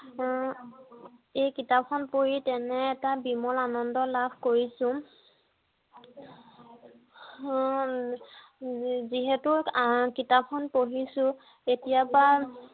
উম এই কিতাপ খন পঢ়ি তেনে বিমল আনন্দ লাভ কৰিছোঁ যিহেতু কিতাপ খন পঢ়িছো এতিয়াৰ পৰা